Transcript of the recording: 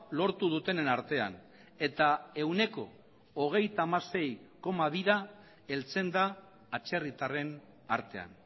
lortu dutenen artean eta ehuneko hogeita hamasei koma bira heltzen da atzerritarren artean